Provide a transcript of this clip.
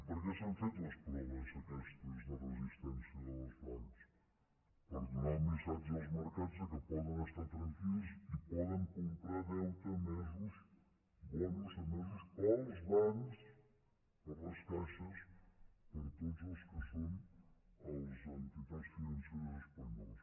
per què s’han fet les proves aquestes de resistència dels bancs per donar el missatge als mercats que poden estar tranquils i poden comprar deute emès bons emesos pels bancs per les caixes per tot el que són les entitats financeres espanyoles